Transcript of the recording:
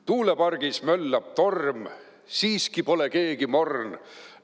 Tuulepargis möllab torm, siiski pole keegi morn.